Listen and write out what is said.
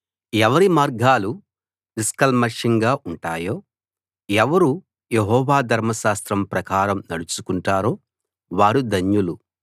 ఎవరి మార్గాలు నిష్కల్మషంగా ఉంటాయో ఎవరు యెహోవా ధర్మశాస్త్రం ప్రకారం నడుచుకుంటారో వారు ధన్యులు